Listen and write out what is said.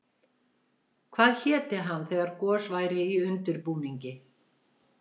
Hvað héti hann þegar gos væri í undirbúningi?